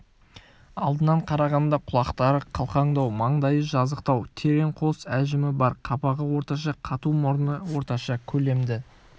алдынан қарағанда құлақтары қалқаңдау маңдайы жазықтау терең қос әжімі бар қабағы орташа қату мұрны орташа көлемді